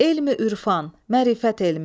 Elmi ürfan, mərifət elmi.